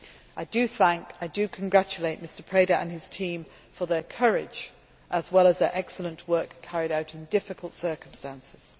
I do thank and congratulate Mr Preda and his team for their courage as well as their excellent work, carried out in difficult circumstances.